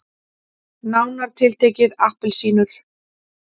Nánar tiltekið appelsínur.